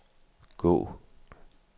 gå